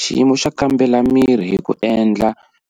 Xiyimo xo kambela miri hi ku endla